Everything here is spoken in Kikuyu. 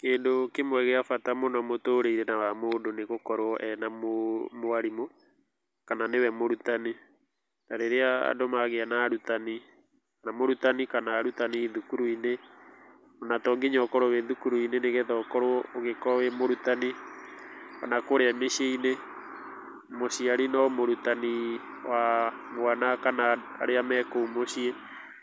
Kĩndũ kĩmwe gĩa bata mũno mũtũrĩre-inĩ wa mũndũ nĩ gũkorwo ena mwarimũ kana nĩwe mũrutani, na rĩrĩa andũ magĩa na arutani, mũrutani kana arutani thukuru-inĩ ona tonginya ũkorwo wĩ thukuru-inĩ nĩgetha ũkorwo wĩ mũrutani ona kũrĩa mĩciĩ-inĩ mũciari no mũrutani wa mwana kana arĩa me kũu mũciĩ.